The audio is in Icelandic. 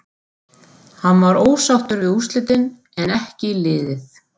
Hann var ósáttur við úrslitin en en ekki liðið.